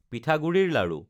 পিঠাগুড়িৰ লাড়ু